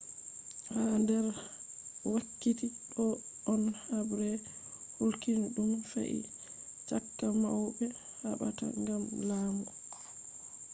ha nder wakkiti ɗo on habre kulniiɗum fe'i caka mauɓe haɓata gam laamu